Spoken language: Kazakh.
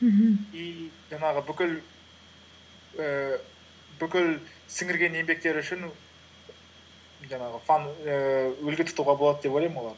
мхм и жаңағы ііі бүкіл сіңірген еңбектері үшін жаңағы ііі үлгі тұтуға болады деп ойлаймын олар